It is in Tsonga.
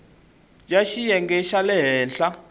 ya xiyenge xa le henhla